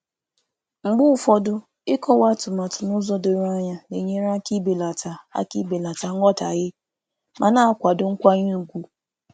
Mgbe ụfọdụ, ịkọwa iwu nke ọma na-ebelata nghọtahie ma na-edobe nkwanye ùgwù.